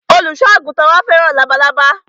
Olùsọ àgùntàn wa fẹ́ràn labalábá